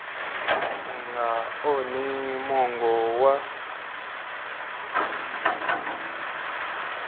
u nga onhi mongo wa